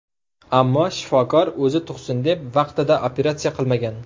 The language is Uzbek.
Ammo shifokor o‘zi tug‘sin deb vaqtida operatsiya qilmagan.